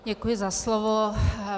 Děkuji za slovo.